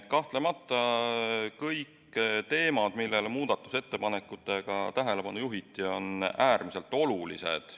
Kahtlemata kõik teemad, millele muudatusettepanekutega tähelepanu juhiti, on äärmiselt olulised.